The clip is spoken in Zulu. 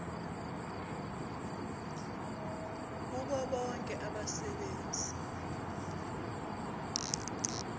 kubo bonke abasebenzi